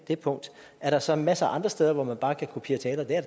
det punkt er der så masser af andre steder hvor man bare kan kopiere taler det er